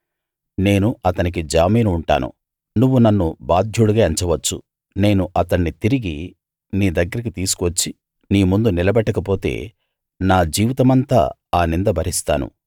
నేను అతనికి జామీను ఉంటాను నువ్వు నన్ను బాధ్యుడుగా ఎంచవచ్చు నేను అతణ్ణి తిరిగి నీ దగ్గరికి తీసుకువచ్చి నీముందు నిలబెట్టకపోతే నా జీవితమంతా ఆ నింద భరిస్తాను